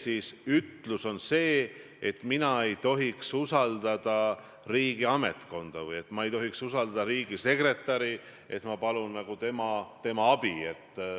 Seda, et ta on üks nendest parimatest poegadest ja tütardest, kes läheb Euroopa Nõukogu Parlamentaarsesse Assambleesse seisma demokraatia, inimõiguste ja õigusriigi eest?